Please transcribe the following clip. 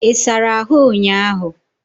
I sara ahu unyiahu?